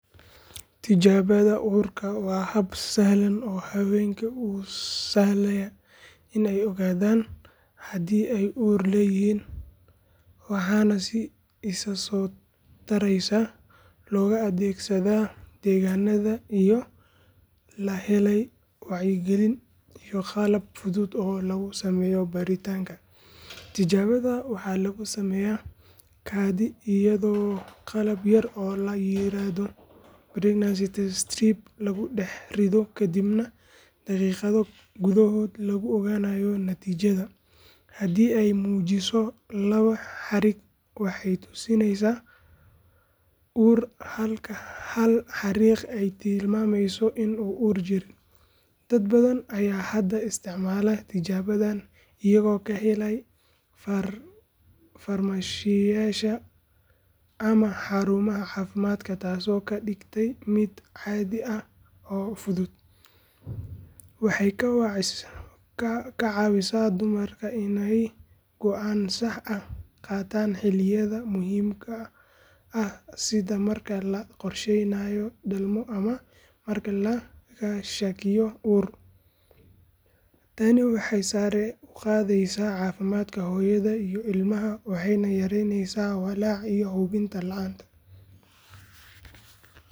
Tijaabada uurka waa hab sahlan oo haweenka u sahlaya in ay ogaadaan haddii ay uur leeyihiin waxaana si isa soo taraysa looga adeegsadaa deegaannada iyadoo la helay wacyigelin iyo qalab fudud oo lagu sameeyo baaritaanka. Tijaabada waxaa lagu sameeyaa kaadi iyadoo qalab yar oo la yiraahdo pregnancy test strip lagu dhex riddo kadibna daqiiqado gudahood lagu ogaanayo natiijada. Haddii ay muujiso laba xariiq waxay tusinaysaa uur halka hal xariiq ay tilmaamayso in uur jirin. Dad badan ayaa hadda isticmaala tijaabadan iyagoo ka helaya farmashiyeyaasha ama xarumaha caafimaadka taasoo ka dhigtay mid caadi ah oo fudud. Waxay ka caawisaa dumarka inay go’aan sax ah qaataan xilliyada muhiimka ah sida marka la qorsheynayo dhalmo ama marka laga shakiyo uur. Tani waxay sare u qaadaysaa caafimaadka hooyada iyo ilmaha waxayna yareyneysaa walaaca iyo hubanti la’aanta.